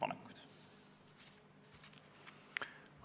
Tänan!